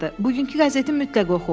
“Bugünkü qəzeti mütləq oxu.